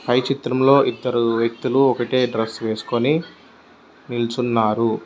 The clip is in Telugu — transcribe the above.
పై చిత్రం లో ఇద్దరు వ్యక్తులు ఒకటే డ్రస్సు వేస్కొని నిల్చున్నారు.